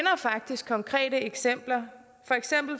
faktisk konkrete eksempler